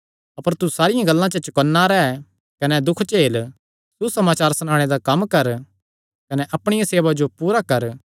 अपर तू सारियां गल्लां ते चौकन्ना रैह् कने दुख झेल सुसमाचार सणाणे दा कम्म कर कने अपणिया सेवा जो पूरा कर